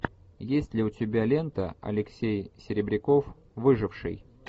есть ли у тебя лента алексей серебряков выживший